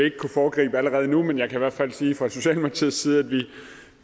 ikke kunne foregribe allerede nu men jeg kan i hvert fald sige fra socialdemokratiets side at